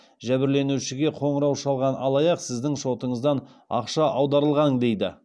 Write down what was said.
жәбірленушіге қоңырау шалған алаяқ сіздің шотыңыздан ақша аударылған дейді